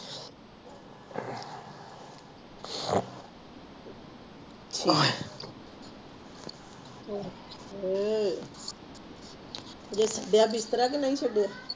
ਆਹੇ ਹਜੇ ਬੈਡ ਬਿਸਤਰਾ ਵੀ ਨਹੀਂ ਛੱਡਿਆ